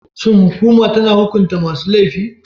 Shin hukuma tana hukunta masu laifi?